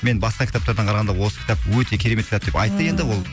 мен басқа кітаптардан қарағанда осы кітап өте керемет кітап деп айтты енді ол ммм